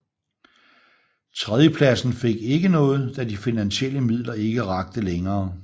Tredjepladsen fik ikke noget da de finansielle midler ikke rakte længere